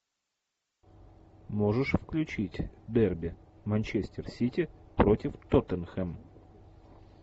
можешь включить дерби манчестер сити против тоттенхэм